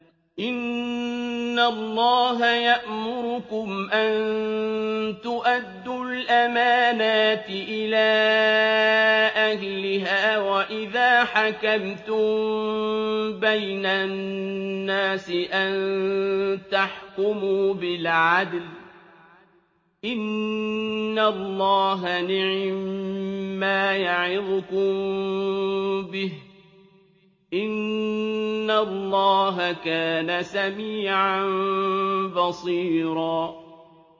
۞ إِنَّ اللَّهَ يَأْمُرُكُمْ أَن تُؤَدُّوا الْأَمَانَاتِ إِلَىٰ أَهْلِهَا وَإِذَا حَكَمْتُم بَيْنَ النَّاسِ أَن تَحْكُمُوا بِالْعَدْلِ ۚ إِنَّ اللَّهَ نِعِمَّا يَعِظُكُم بِهِ ۗ إِنَّ اللَّهَ كَانَ سَمِيعًا بَصِيرًا